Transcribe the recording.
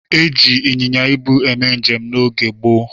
E jiri ịnyịnya ibu eme njem n'oge gboo.